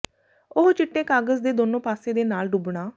ਉਹ ਚਿੱਟੇ ਕਾਗਜ਼ ਦੇ ਦੋਨੋ ਪਾਸੇ ਦੇ ਨਾਲ ਡੁੱਬਣਾ